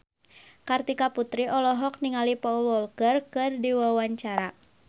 Kartika Putri olohok ningali Paul Walker keur diwawancara